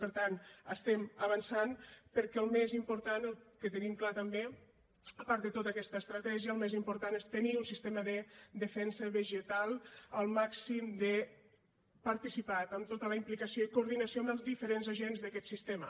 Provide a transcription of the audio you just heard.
per tant estem avançant perquè el més important el que tenim clar també a part de tota aquesta estratègia el més important és tenir un sistema de defensa vegetal al màxim de participat amb tota la implicació i coordinació amb els diferents agents d’aquest sistema